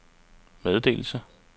meddelelse